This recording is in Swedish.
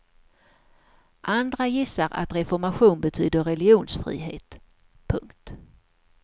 Andra gissar att reformation betyder religionsfrihet. punkt